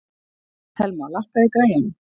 Thelma, lækkaðu í græjunum.